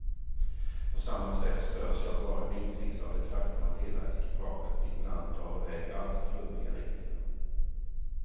På samma sätt störs jag bara glimtvis av det faktum att hela ekipaget ibland drar i väg i alltför flummiga riktningar.